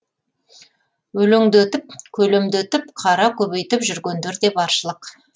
өлеңдетіп көлемдетіп қара көбейтіп жүргендер де баршылық